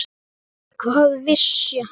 Hvað vissi hann?